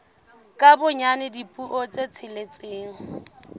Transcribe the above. ka bonyane dipuo tse tsheletseng